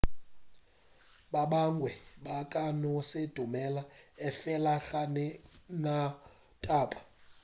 ba bangwe ba ka no se dumele efela ga ke na taba